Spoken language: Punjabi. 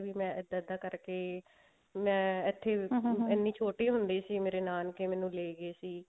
ਵੀ ਮੈਂ ਇੱਦਾਂ ਇੱਦਾਂ ਕਰਕੇ ਮੈਂ ਛੋਟੀ ਹੁੰਦੀ ਸੀ ਮੇਰੇ ਨਾਨਕੇ ਮੈਨੂੰ ਲੈਗੇ ਸੀ